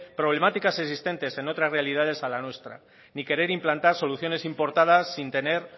problemáticas existentes en otras realidades a la nuestra ni querer implantar soluciones importadas sin tener